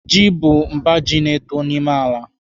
Ji bụ mba ji na-eto n'ime ala.